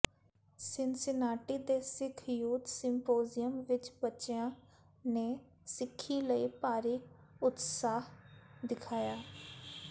Cincinnati ਦੇ Sikh youth symposium ਵਿੱਚ ਬੱਚਿਆਂ ਨੇ ਸਿੱਖੀ ਲਈ ਭਾਰੀ ਉਤਸ਼ਾਹ ਦਿਖਾਇਆ